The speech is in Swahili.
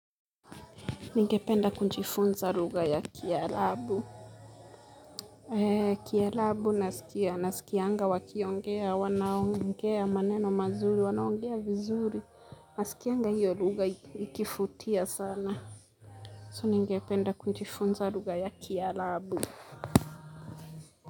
Ningependa kujifunza ruga ya kialabu. Kialabu nasikianga wakiongea, wanaongea maneno mazuri, wanaongea vizuri. Nasikianga hiyo ruga ikifutia sana. So ningependa kunjifunza ruga ya kialabu.